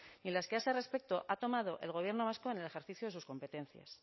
ni las que a ese respecto ha tomado el gobierno vasco en el ejercicio de sus competencias